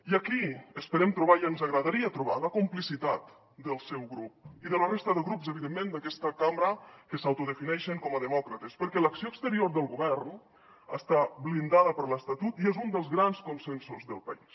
i aquí esperem trobar i ens agradaria trobar la complicitat del seu grup i de la resta de grups evidentment d’aquesta cambra que s’autodefineixen com a demòcrates perquè l’acció exterior del govern està blindada per l’estatut i és un dels grans consensos del país